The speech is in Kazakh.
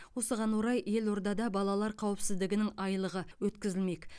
осыған орай елордада балалар қауіпсіздігінің айлығы өткізілмек